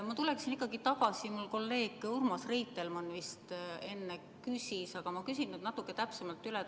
Ma tulen ikkagi tagasi selle juurde, mida kolleeg Urmas Reitelmann enne küsis, aga ma küsin natuke täpsemalt.